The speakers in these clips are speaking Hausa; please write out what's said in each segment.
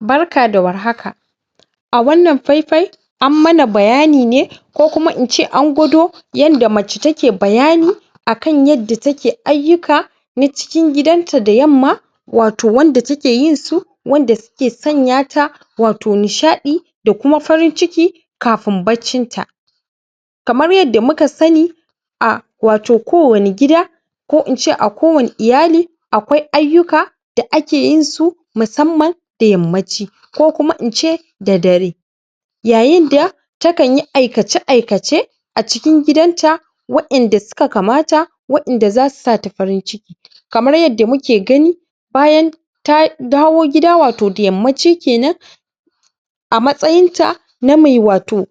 Barka da warhak, a wannan faifai an mana bayani ne ko kuma ince an gwado yadda mace take bayani a kan yadda take ayyuka na cikin gidanta da yamma wato wanda takeyinsu wanda suke sanyata wato nishaɗi da kuma farin ciki kaafin baccin ta. kamar yadda muka sani wato a ko wani gida ko ince a kowani iyali akwai ayyuka da ake yinsu musamman da yammaci ko kuma ince da dare. Yayinda ta kanyi aikace-aikace a cikin gidanta wa inda suka kamata wa inda zasu sa ta farin ciki kamar yadda muke gani bayan ta dawo gida wato da yammaci kenan. a matsayinta na me wato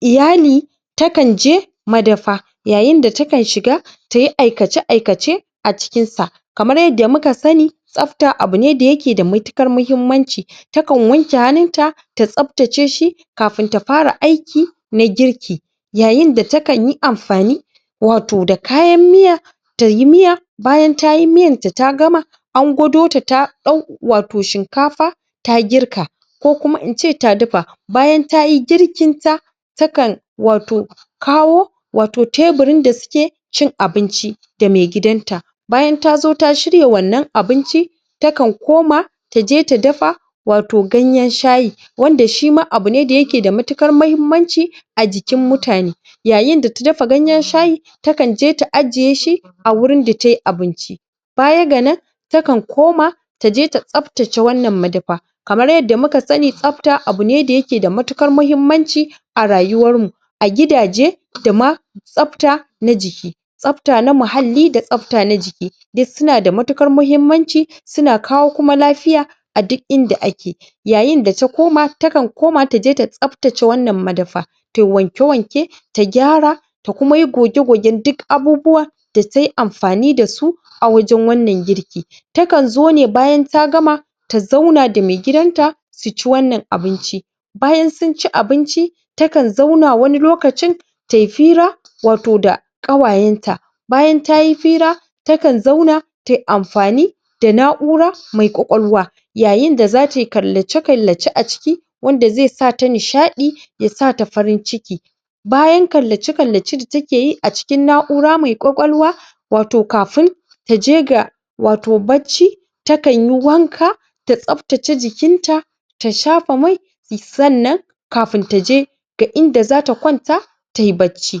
iyali takanje madafa, yayinda tagan shiga tayi aikace-aikace a cikinsa. Kamar yadda muka sani tsafta abu ne da yake da matuƙar muhimmanci. Takan wanke hannunta ta tsaftace shi, kafin ta fara aiki na girki. Yayinda takanyi amfani da wato da kayan miya tayi miya, bayan tayi miyarta ta gama an gwadota ta ɗau wato shinkafa ta girka. ko kuma ince ta dafa. Bayan tayi girkinta takan wato kawo wato teburin da suke cin abinci da mai gidanta. bayan tazo ta shirya wannan abinci takan koma taje ta dafa wato ganyen shayi. wanda shima abu ne da yake da matukar muhimmanci a jikin mutane. Yayinda ta dafa ganyen shayi ta kanje ta ajiyeshi a wurin da tayi abinci. baya ga nan takan koma taje ta tsaftace wannan madafa. kamar yadda muka sani tsafta abu ne da yake da matuƙar muhimmanci a rayuwar mu. a gidaje da ma tsafta na jiki, tsafta na muhalli da tsafta na jiki duk suna da matuƙar muhimmanci, suna kawo kuma lafiya a duk inda ake. Yayinda ta koma takan koma taje ta tsaftace wannan madafa tayi wanke wanke ta gyara, ta kuma yi goge-gogen duk abubuwan da tayi amfani dasu a wajen wannan girki. Takanzo ne bayan ta gama su zauna da mai gidanta suci wannan abinci bayan sunci abinci takan zauna wani lokcin tayi fira wato da ƙawayenta. Bayan tayi fira ta kan zauna tayi amfani da na'ura mai kwakwalwa Yayinda zatayi kallace-kallace a ciki wanda zai sata nishaɗi ya sata farin ciki Bayan kallace-kallace da takeyi a cikin na'ura mai kwakwalwa wato kafin taje ga wato bacci takanyi wanka ta tsaftace jikinta, ta shafa mai sannan kafin taje ga inda zata kwanta tayi bacci,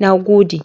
nagode.